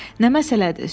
Nə məsələdir?